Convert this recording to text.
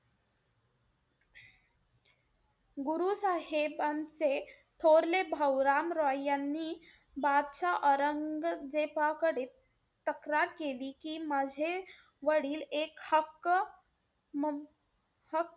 गुरु साहेबांचे थोरले भाऊ राम रॉय यांनी बादशाह औरंगजेबाकडे तक्रार केली, की माझे वडील एक हक्क म,